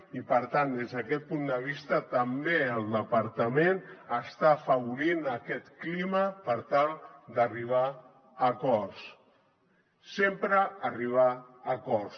i per tant des d’aquest punt de vista també el departament està afavorint aquest clima per tal d’arribar a acords sempre arribar a acords